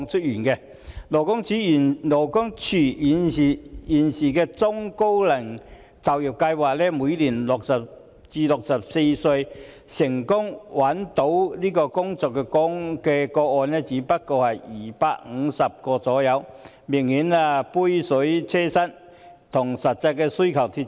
現時勞工處的中高齡就業計劃為60歲至64歲人士成功就業的個案每年只有250宗左右，明顯是杯水車薪，與實際需求脫節。